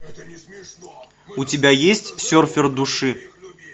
у тебя есть серфер души